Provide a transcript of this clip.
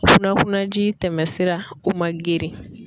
Kunnakunnaji tɛmɛsira o man girin.